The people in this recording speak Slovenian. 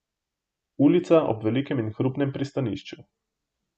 Ulica ob velikem in hrupnem pristanišču.